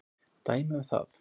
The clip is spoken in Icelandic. Dæmi um það